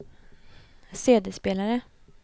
CD-spelare